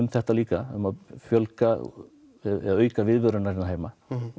þetta líka um að auka viðveru hennar heima